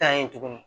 Tan yen tuguni